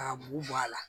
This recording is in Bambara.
K'a mugu bɔ a la